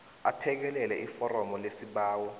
aphekelele iforomu lesibawo